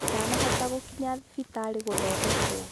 Ndanahota gũkinya thibitarĩ gũthondekwo.